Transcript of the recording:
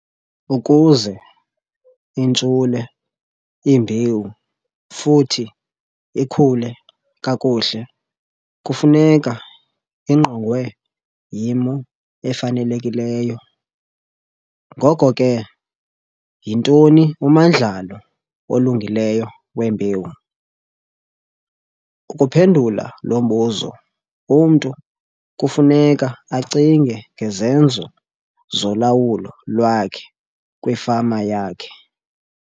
Ukuze intshule imbewu futhi ikhule kakuhle kufuneka ingqongwe yimo efanelekileyo. Ngoko ke, yintoni umandlalo olungileyo wembewu? Ukuphendula lo mbuzo umntu kufuneka acinge ngezenzo zolawulo lwakhe kwifama yakhe.